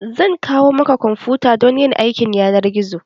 Zan kawo maka kwamfuta domin aikin yanar gizo.